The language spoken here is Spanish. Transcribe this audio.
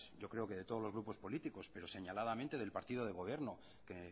yo creo que de todos los grupos políticos pero señaladamente del partido de gobierno que